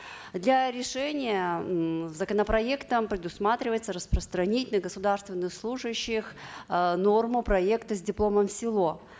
для решения м законопроектом предусматривается распространить на государственных служащих э норму проекта с дипломом в село